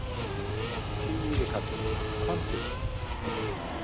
Týri kallinn, komdu.